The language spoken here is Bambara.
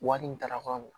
Wari in dara kɔ